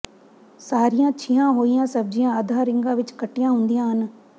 ਸਾਰੀਆਂ ਛੀਆਂ ਹੋਈਆਂ ਸਬਜ਼ੀਆਂ ਅੱਧਾ ਰਿੰਗਾਂ ਵਿੱਚ ਕੱਟੀਆਂ ਹੁੰਦੀਆਂ ਹਨ